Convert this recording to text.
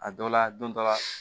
A dɔ la don dɔ la